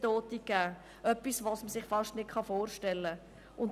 Das ist etwas, das man sich fast nicht vorstellen kann.